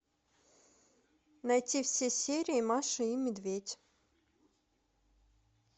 найти все серии маша и медведь